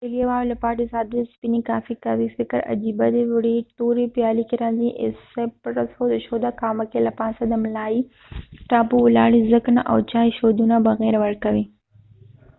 اسټرالیاوالو لپاره د 'ساده سپینې' کافي قهوې فکر عجیبه دی. وړې تورې پیالې کې راځي 'ایسپرسو'، د شودو قهوه کې له پاسه د ملایئ ټاپو ولاړ وي ځګ نه، او چای شودو نه بغېر ورکوي